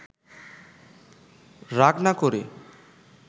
রাগ না করে